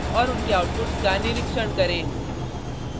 और उनके आउटपुट्स का निरीक्षण करें